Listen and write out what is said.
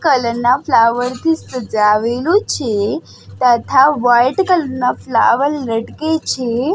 Colour ના flower થી સજાવેલું છે તથા વ્હાઇટ કલર ના ફ્લાવર લટકે છે.